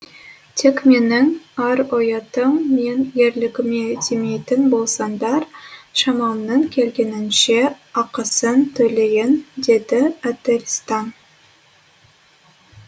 тек менің ар ұятым мен ерлігіме тимейтін болсаңдар шамамның келгенінше ақысын төлейін деді ательстан